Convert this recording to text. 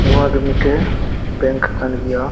ᱱᱚᱣᱟ ᱫᱚ ᱢᱤᱫᱴᱮᱡ ᱵᱮᱸᱠ ᱠᱟᱱ ᱜᱤᱭᱟ᱾